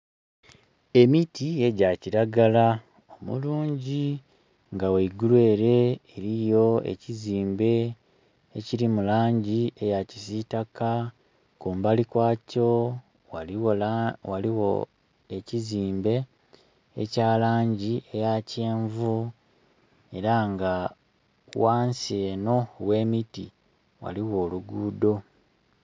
Emiti egya kiragala omulungi nga ghaigulu ere eliyo ekizimbe ekili mu langi eya kisitaka kumbali kwakyo ghaligho ekizimbe ekya langi eya kyenvu era nga ghansi eno ghe miti ghaligho olugudho.